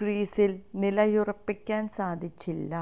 ക്രീസിൽ നിലയുറപ്പിക്കാൻ സാധിച്ചില്ല